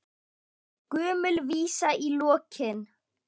Gömul vísa í lokin.